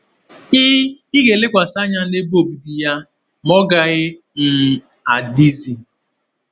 Ị Ị ga-elekwasị anya n’ebe obibi ya, ma ọ gaghị um adịzi.”